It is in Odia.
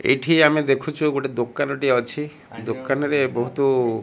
ଏଇଠି ଆମେ ଦେଖୁଛୁ ଗୋଟେ ଦୁକାନ ଟିଏ ଅଛି ଦୁକାନ ରେ ବହୁତୁ --